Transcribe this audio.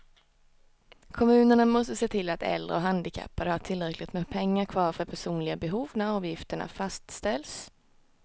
Kommunerna måste se till att äldre och handikappade har tillräckligt med pengar kvar för personliga behov när avgifterna fastställs.